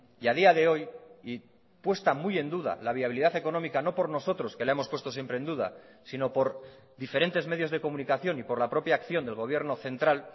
y a día de hoy y puesta muy en duda la viabilidad económica no por nosotros que la hemos puesto siempre en duda sino por diferentes medios de comunicación y por la propia acción del gobierno central